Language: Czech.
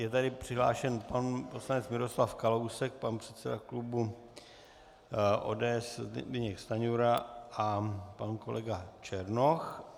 Je tady přihlášen pan poslanec Miroslav Kalousek, pan předseda klubu ODS Zbyněk Stanjura a pan kolega Černoch.